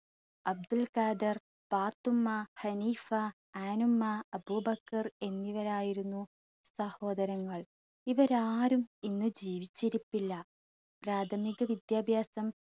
അബ്ദുൽ ഖാദർ, പാത്തുമ്മ, ഹനീഫ, ആനുമ്മ, അബൂബക്കർ എന്നിവരായിരുന്നു സഹോദരങ്ങൾ. ഇവരാരും ഇന്ന് ജീവിച്ചിരിപ്പില്ല. പ്രാഥമിക വിദ്യാഭ്യാസം